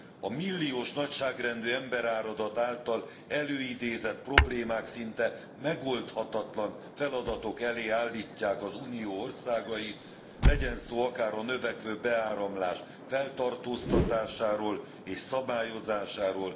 A milliós nagyságrendű emberáradat által előidézett problémák szinte megoldhatatlan feladatok elé állítják az Unió országait, legyen szó akár a növekvő beáramlás feltartoztatásáról és szabályozásáról,